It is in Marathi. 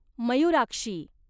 मयुराक्षी